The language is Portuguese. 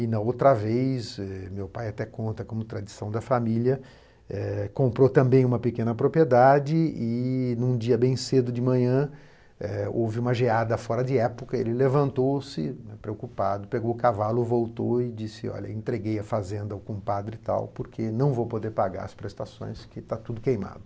E na outra vez, eh, meu pai até conta como tradição da família, eh, comprou também uma pequena propriedade e num dia bem cedo de manhã, eh, houve uma geada fora de época, ele levantou-se, preocupado, pegou o cavalo, voltou e disse, olha, entreguei a fazenda ao compadre e tal, porque não vou poder pagar as prestações que está tudo queimado.